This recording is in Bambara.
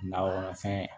Nakɔfɛn